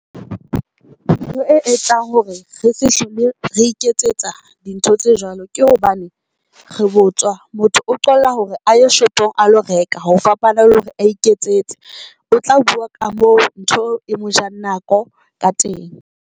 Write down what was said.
Re e etsang hore re se hlole re iketsetsa dintho tse jwalo, ke hobane re botswa motho o qolla hore a ye shopong a lo reka ho fapana le hore a iketsetse. O tla bua ka mo ntho e mojang nako ka teng.